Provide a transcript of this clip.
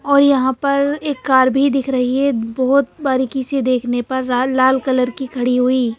और यहां पर एक कार भी दिख रही है बहोत बारीकी से देखने पर लाल लाल कलर की खड़ी हुई--